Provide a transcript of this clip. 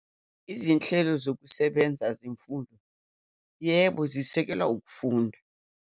Izinhlelo zokusebenza zemfundo, yebo, zisekelwa ukufunda.